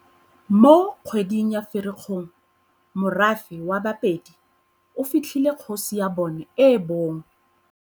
Mo kgweding ya Firikgong morafe wa Bapedi o fitlhile kgosi ya bona e bong.